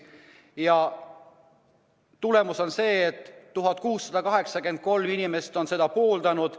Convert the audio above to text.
Ja tulemus on see, et 1683 inimest on seda pooldanud.